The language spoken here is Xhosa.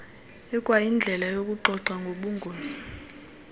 ikwayindlela yokuxoxa ngobungozi